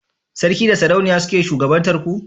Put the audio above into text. sarki da sarauniya suke shugabantar ku?